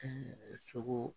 Ɛɛ sogo